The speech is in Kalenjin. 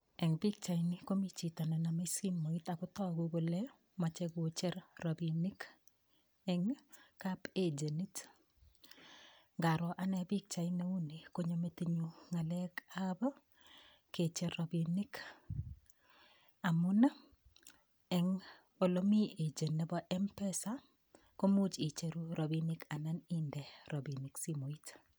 Eng' pikchaini komi chito nenomei simoit akotoku kole mochei kocher robinik eng' kapagenit ngaro ane pikchait neu ni konyo metinyu ng'alekab kecher robinik amun eng' ole mi agent nebo mpesa komuuch icheru robinik anan inde robinik simoit